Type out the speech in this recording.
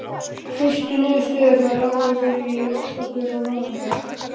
Fyrstu niðurstöðurnar lágu fyrir í október og nóvember.